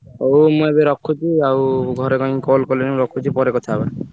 ହଉ ମୁଁ ଏବେ ରଖୁଛି ଆଉ ଘରେ କାଇଁ call କଲେଣି ମୁଁ ରଖୁଛି ପରେ କଥା ହବା।